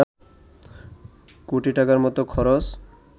কোটি টাকার মতো খরচ